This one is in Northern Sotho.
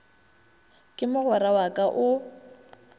ke mogwera wa ka o